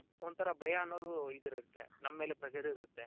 ಒಂಥರಾ ಭಯ ಅನ್ನೋದು ಇದಿರುತ್ತೆ ನಮ್ ಮೇಲೆ pressure ಇರುತ್ತೆ